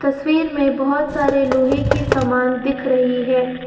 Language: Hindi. तस्वीर में बहुत सारे लोहे की समान दिख रही है।